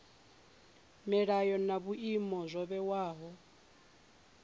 milayo na vhuimo zwo vhewaho